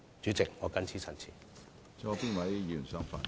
主席，我謹此陳辭。